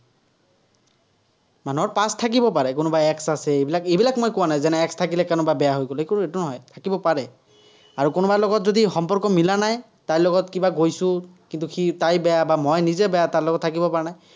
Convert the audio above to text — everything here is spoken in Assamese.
মানুহৰ past থাকিব পাৰে কোনোবা ex আছে। এইবিলাক এইবিলাক মই কোৱা নাই, যেনে ex থাকিলে কোনোবা বেয়া হৈ গ'লে, এইটো নহয়, থাকিব পাৰে। আৰু কোনোবাৰ লগত যদি সম্পৰ্ক মিলা নাই, তাইৰ লগত কিবা গৈছো, কিন্তু, সি তাই বেয়া, বা মই নিজে বেয়া, তাৰ লগত থাকিব পৰা নাই।